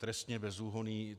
Trestně bezúhonný.